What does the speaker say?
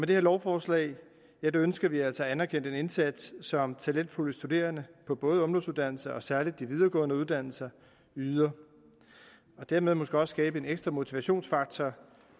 det her lovforslag ønsker vi altså at anerkende den indsats som talentfulde studerende på både ungdomsuddannelser og særlig de videregående uddannelser yder og dermed måske også skabe en ekstra motivationsfaktor